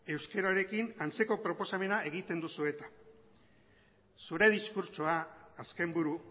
euskararekin antzeko proposamena egiten duzu eta zure diskurtsoa azken buru